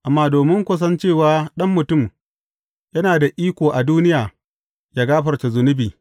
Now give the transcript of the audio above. Amma domin ku san cewa Ɗan Mutum yana da iko a duniya ya gafarta zunubai.